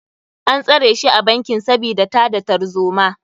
An tsare shi a bankin sabida tada tarzoma.